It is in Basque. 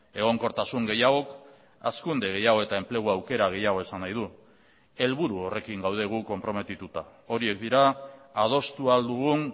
egonkortasun gehiago hazkunde gehiago eta enplegu aukera gehiago esan nahi du helburu horrekin gaude gu konprometituta horiek dira adostu ahal dugun